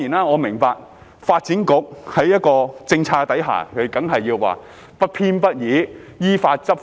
我明白，在一個政策之下，發展局當然說要不偏不倚、依法執法。